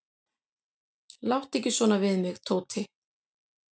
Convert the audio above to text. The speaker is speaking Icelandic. """Láttu ekki svona við mig, Tóti."""